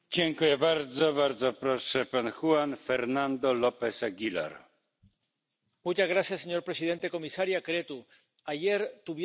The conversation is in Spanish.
Señor presidente, comisaria Creţu, ayer tuvieron lugar elecciones legislativas en un importante país de la Unión Europea Suecia.